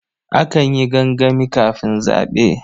Akan yi gangami kafin zaɓe.